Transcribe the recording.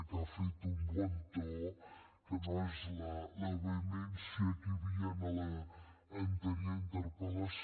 que ha fet un bon to que no és la vehemència que hi havia a l’anterior interpel·lació